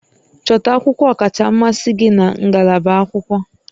Chọta akwụkwọ ọkacha mmasị gị na ngalaba akwụkwọ